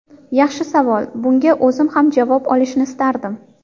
Yaxshi savol, bunga o‘zim ham javob olishni istardim.